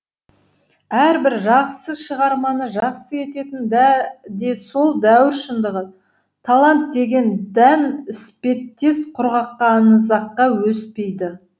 әрбір жақсы шығарманы жақсы ететін де сол дәуір шындығы талант деген дән іспеттес құрғаққа аңызаққа өспейді